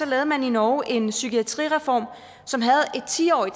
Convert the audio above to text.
lavede man i norge en psykiatrireform som havde et ti årig